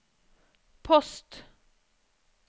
post